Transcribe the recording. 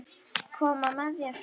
Koma með þér?